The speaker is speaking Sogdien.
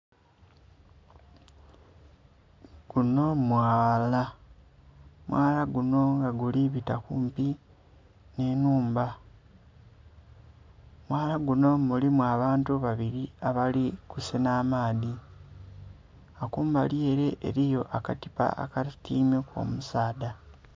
Gunho mwaala, omwaala gunho nga guli bita kumpi nh'ennhumba, omwaala gunho mulimu abantu babili abali kusenha amaadhi, nga kumbali ele eliyo aka tipa akatyaimeku omusaadha.